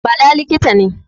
Bala likita ne